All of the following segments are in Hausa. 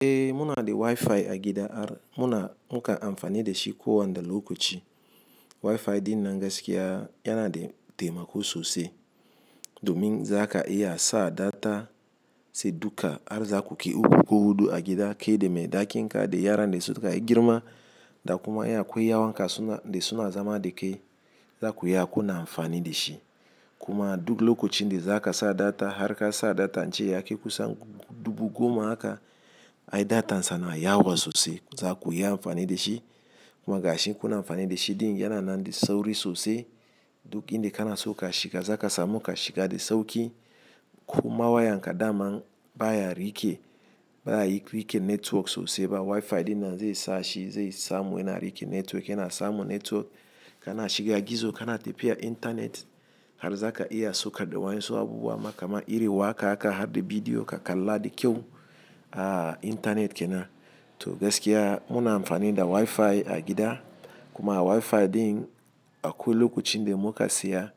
Eh muna da WiFi a gida, muna mukan amfani da shi ko wane lokaci. WiFi ɗin nan gaskiya yana da taimako sosai domin zaka iya sa data sai duka har zakuke uku ko hudu a gida kai da me dakin ka da yara da suka girma da kuma in akwai yan uwanka dasuna zama da kai zakuyi kuna amfani da shi. Kuma duk lokacin da zaka sa data har ka sa data jiya ya kusan dubu goma haka, ai data sana yawa sosai zakuyi amfani da shi. Kuma gashi kuna amfani da shi din yana nan da sauri sosai duk inda kana so ka shiga zakasa muka shiga da sauki. Kuma wayan ka daman baya rike baya rike network sosai ba. WiFi din nan zai sa shi zai samu yana rike network yana samu network kana shiga gizo kana shiga intanet har zaka iya so kaɗa wayan su abubuwa makama iri wa haka haka har da bidiyo ka kalla da kyau a intanet kenan. To gaskiya muna amfani da wifi a gida, to wifi din akwai lokacin da muka saya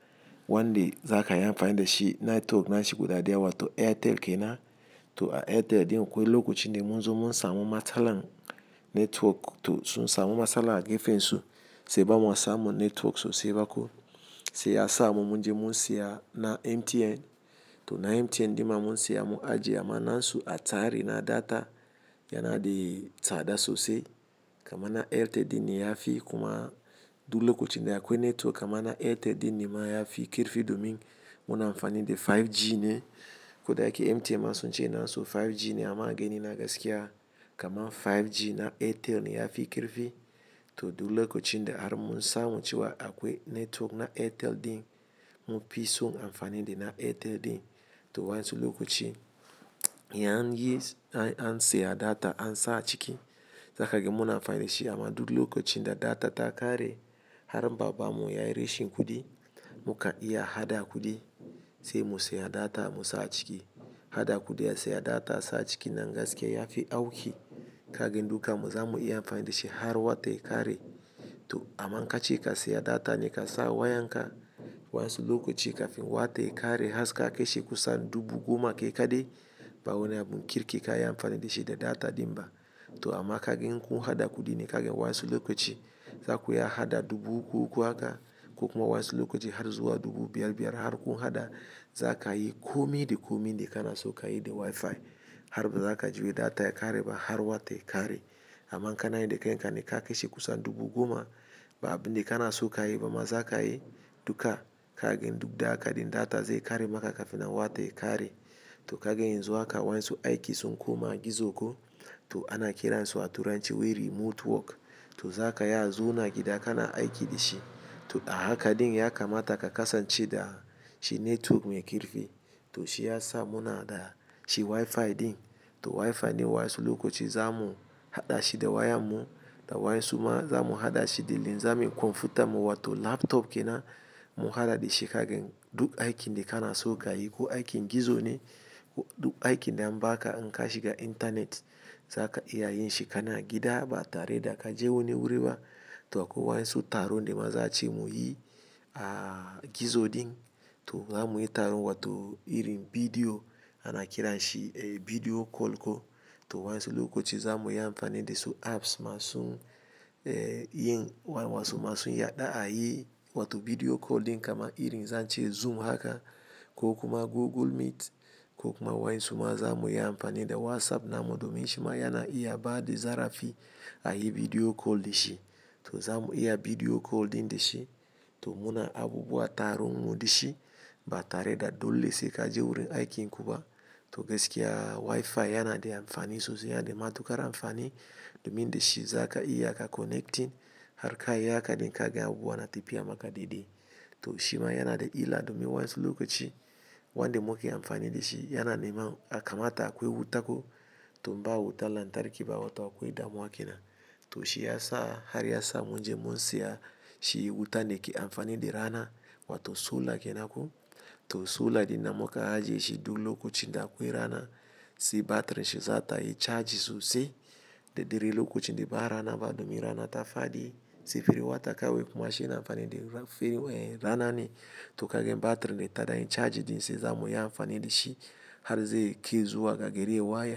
wanda zaka yi amfani dashi network nashi guda daya wato airtel kenan to a Airtel ɗin akwai lokacin da munzo mun samu matsala network to sun samu matsala a gefen su sai bama samun network sosai ba ko. Sai ya samu munje mun siya na MTN to na MTN din ma mun siya mu ajiya amma na su a tsari na data yana da tsada sosai. Kaman na Airtel din ne yafi kuma duk lokacin da akwai network amman na Airtel dinne ma yafi kirfi domin muna amfani da 5G ne. Koda yake mtn ma sunce nasu 5G ne amma a gani na gaskiya kamar 5G na airtel yafi karfi to duk lokacin da har mun samu cewa akwai network na Airtel din munfi son amfani da na Airtel din. To wa en su lokaci yan yi an siya data an sa a ciki zakage muna amfani da shi amma duk lokacin da data ta kare har babba mu yayi rashin kuɗi muka iya haɗa kuɗi sai mu siya data mu sa a ciki. Haɗa kuɗi a siya data sa a ciki nan gaskiya yafi auki. Kagan dukanmu zamu iya amfani da shi har wata ya kare. To aman kace ka siya data ne ka sa wayan ka wa yen su lokaci kafin wata ya kare har ka kashe kusan dubu goma ke kaɗai, ba'a wani abun kirki ka yi amfani da shi da data din ba. To amma kage kun haɗa kuɗi ne kagan wain su lokaci zakuyi haɗa dubu uku haka ko kuma wain su lokaci har zuwa dubu biyar biyar har kun haɗa zakayi komi da komi da kana so kayi da WiFi har ba zaka ji wai data ya kare ba har wata ya kare. Aman kana yin da kai ne ka kishe kusan dubu goma ba abin da kana so kayi ba ma zakayi duka kagan duk da haka din data zai kare maka kafina wata ya kare. To kagan yanxu haka wain su aiki sunko ma a gizo ko to ana kiransu a turanci wai remote work to zakayi a zauna a gida kana aiki da shi. To a haka din ya kamata ka kasance da shi network mai kirfi to shi ya sa muna da shi WiFi din. To WiFi ne wain su lokaci zamu haɗa shi da wayan mu da wain suma zamu haɗa shi da lean zamu yi kwamfuta mu wato laptop kenan mu haɗa da shi kagan duk aikin da kana so kayi ko aikin gizo ne ko duk aikin da an baka in ka shiga intanet zaka iya yin shi kana gida ba tare da ka je wani wuri ba. To akwai waen su tarone ma za a ce mu yi a gizo din to zamuyi taron wato irin bidiyo ana kiran shi eh video call ko. To wain su lokaci zamuyi amfani da su apps masu eh yin wain wasu masu yaɗda a yi wato video call din kama irin zan ce Zoom haka ko kuma Google Meet ko kuma wain suma zamuyi amfani da WhatsApp namu domin shi ma yana iya baɗi zarafi a yi video call da shi. To zamu iya video call din da shi to muna abubuwa taron mu da shi ba tare da dole sai kaje wurin aikin ku ba. To gaskiya WiFi yana da amfani sosai yana da matuƙar amfani domin da shi zaka iya ka connecting har ka yi haka din kaga abubuwa na tafiya maka daidai. To shi ma yana da illa domin wain su lokaci wanda muke amfani da shi yana neman a kamata akwai wuta ko to ba wuta lantarki ba wato akwai damuwa ke nan. To shi ya sa har ya sa munje mun siya shi wutan da ke amfani da rana wato solar kenan ko. To solar din namu ka ajiye shi duk lokacin da akwai rana sai batirin shi zata yi charge sosai da dare lokacin da ba rana ba domin rana ta faɗi sai ferin wata kawai kuma shi yana amfani da rana ne. To kagan batir tana chaji dashi zamuyi amfani har zuwa gari ya waye.